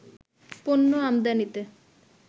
পণ্য আমদানিতে